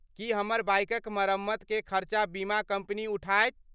की हमर बाइकक मरम्मतकेँ खर्चा बीमा कम्पनी उठाएत?